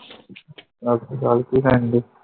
ਸਤਸ਼੍ਰੀਅਕਾਲ ਕਿ ਕਰਨ ਡੀ